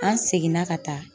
An seginna ka taa.